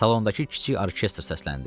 Salondakı kiçik orkestr səsləndi.